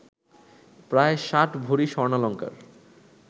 প্রায় ষাট ভরি স্বর্ণালঙ্কার